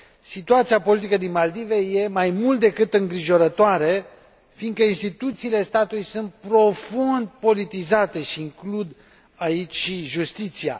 Situația politică din Maldive e mai mult decât îngrijorătoare, fiindcă instituțiile statului sunt profund politizate și includ aici și justiția.